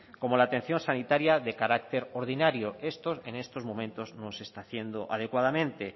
como la atención sanitaria de carácter ordinario esto en estos momentos no se está haciendo adecuadamente